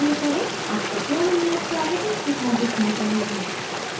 आपका पूर्ण नियत कार्य इस प्रकार दिखना चाहिए